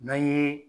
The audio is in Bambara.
N'an ye